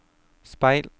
speil